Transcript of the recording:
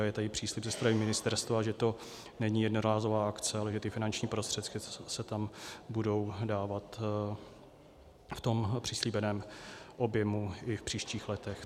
A je tady příslib ze strany ministerstva, že to není jednorázová akce, ale že ty finanční prostředky se tam budou dávat v tom přislíbeném objemu i v příštích letech.